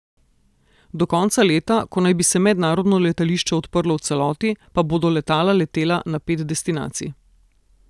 Do konca leta, ko naj bi se mednarodno letališče odprlo v celoti, pa bodo letala letela na pet destinacij.